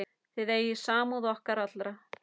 Þið eigið samúð okkar alla.